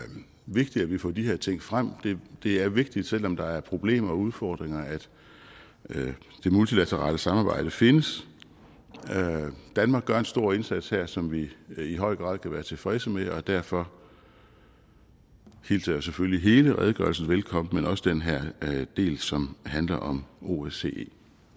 vigtigt at vi får de her ting frem det er vigtigt selv om der er problemer og udfordringer at det multilaterale samarbejde findes danmark gør en stor indsats her som vi i høj grad kan være tilfredse med og derfor hilser jeg selvfølgelig hele redegørelsen velkommen men også den her del som handler om osce